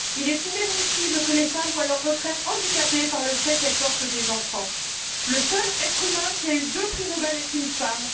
Il est inadmissible que les femmes voient leur retraite handicapée par le fait qu'elles portent des enfants. Le seul être humain qui a eu deux prix Nobel est une femme.